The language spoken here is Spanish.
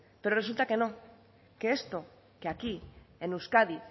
pero resulta que no que esto de aquí en euskadi